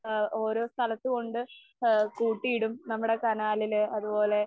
ആ ആ ഓരോ സ്ഥലത്ത് കൊണ്ട് ആ കൂട്ടിയിടും. നമ്മടെ കനാലില് അതുപോലെ